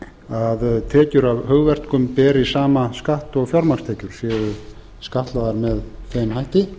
að tekjur af hugverkum beri sama skatt og fjármagnstekjur séu skattlagðar með þeim hætti